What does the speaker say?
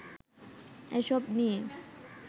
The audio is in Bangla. এসব নিয়ে